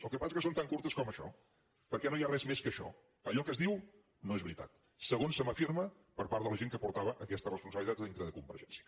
el que passa que són tan curtes com això perquè no hi ha res més que això allò que es diu no és veritat segons se m’afirma per part de la gent que portava aquesta responsabilitat dintre de con·vergència